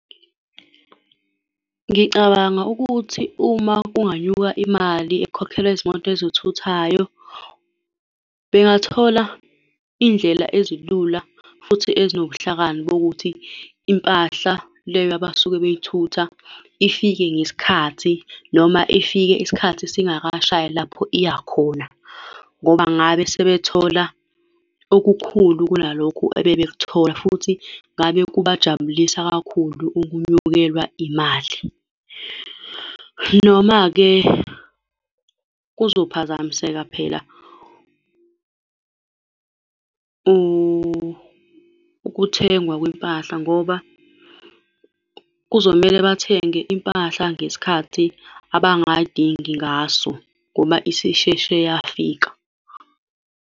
Ngicabanga ukuthi uma kunganyuka imali ekhokhelwa izimoto ezithuthayo bengathola iy'ndlela ezilula futhi ezinobuhlakani bokuthi impahla leyo abasuke bey'thutha ifike ngesikhathi noma ifike isikhathi singakashayi lapho iya khona, ngoba ngabe sebethola okukhulu kunalokhu ebebekuthola, futhi ngabe kubajabulisa kakhulu ukwenyukelwa imali. Noma-ke kuphazamiseka phela ukuthengwa kwimpahla, ngoba kuzomele bathenge impahla ngesikhathi abangay'dingi ngaso, ngoba isisheshe yafika.